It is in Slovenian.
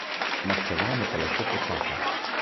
Maščevanje pa lahko počaka.